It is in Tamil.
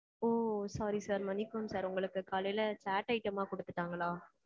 ஓ. Sorry sir மன்னிக்கவும் sir உங்களுக்கு காலையில chat item மா குடுத்துட்டாங்களா?